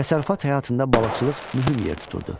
Təsərrüfat həyatında balıqçılıq mühüm yer tuturdu.